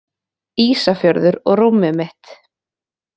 Ísafjörður og rúmið mitt